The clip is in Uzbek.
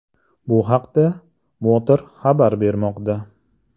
Bu haqda Motor xabar bermoqda .